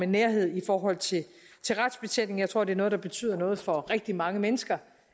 nærhed i forhold til retsbetjeningen jeg tror det er noget der betyder noget for rigtig mange mennesker